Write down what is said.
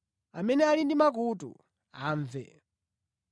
Amene ali ndi makutu amve.”